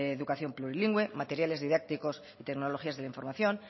educación plurilingüe materiales didácticos y tecnologías de la información